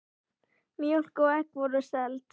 Mjólk og egg voru seld.